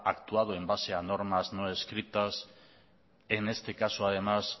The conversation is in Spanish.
actuado en base a normas no escritas en este caso además